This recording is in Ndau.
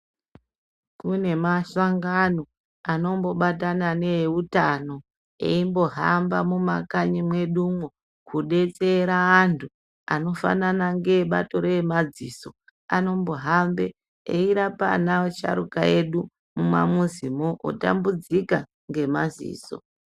Kune mahlangano anombobatana neeutano eimbohama mumakanyi mwedumwo kudetsera antu, anofanana ngeebato reemadziso. Anombohambe eirapaa asharuka edu mumamuzimwo, otambudzika ngemaziso.